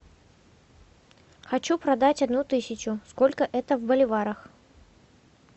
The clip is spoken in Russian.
хочу продать одну тысячу сколько это в боливарах